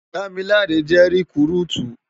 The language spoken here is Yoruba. Damilare jè rikúrútú